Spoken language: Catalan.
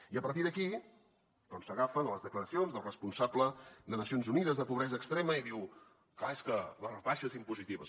i a partir d’aquí s’agafen a les declaracions del responsable de nacions unides de pobresa extrema i diu clar és que les rebaixes impositives